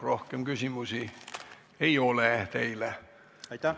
Rohkem küsimusi teile ei ole.